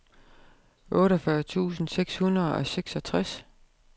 otteogfyrre tusind seks hundrede og seksogtres